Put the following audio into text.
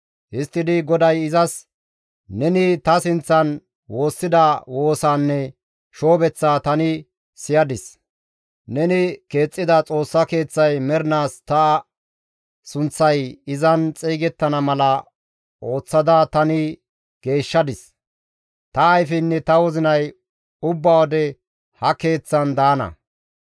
Histtidi GODAY izas, «Neni ta sinththan woossida woosaanne shoobeththaa tani siyadis; neni keexxida Xoossa Keeththay mernaas ta sunththay izan xeygettana mala ooththada tani geeshshadis; ta ayfeynne ta wozinay ubba wode ha Keeththaan daana.